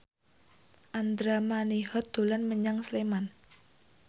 Andra Manihot dolan menyang Sleman